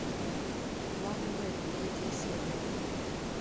план б третья серия